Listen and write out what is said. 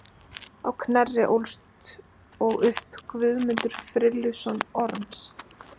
Á Knerri ólst og upp Guðmundur, frilluson Orms.